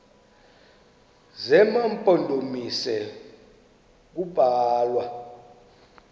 zema mpondomise kubalwa